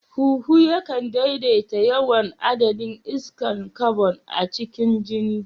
Huhu yakan daidaita yawan adadin iskar kabon a cikin jini.